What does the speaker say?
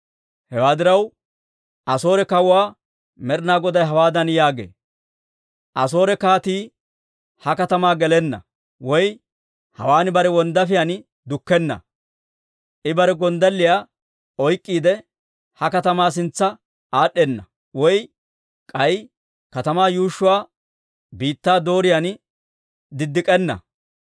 «Hewaa diraw, Asoore kawuwaa Med'ina Goday hawaadan yaagee; ‹Asoore kaatii ha katamaa gelenna; woy hawaan bare wonddaafiyaan dukkenna. I bare gonddalliyaa oyk'k'iide, ha katamaa sintsa aad'd'enna; woy k'ay katamaa yuushshuwaa biittaa dooriyaan direnna.